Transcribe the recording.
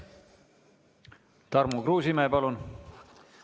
Tarmo Kruusimäe, palun!